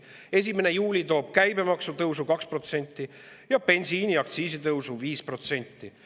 1. juuli toob käibemaksu tõusu 2% ja bensiiniaktsiisi tõusu 5%.